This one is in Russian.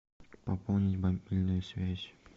пополнить мобильную связь